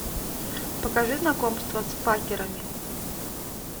покажи знакомство с факерами